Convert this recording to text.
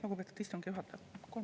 Lugupeetud istungi juhataja!